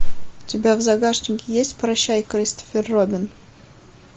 у тебя в загашнике есть прощай кристофер робин